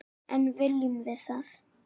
En viljum við það?